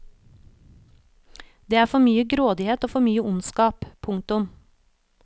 Det er for mye grådighet og for mye ondskap. punktum